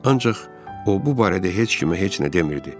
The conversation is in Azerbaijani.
Ancaq o bu barədə heç kimə heç nə demirdi.